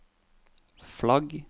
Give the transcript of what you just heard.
flagg